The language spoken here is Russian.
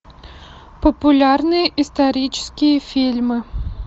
популярные исторические фильмы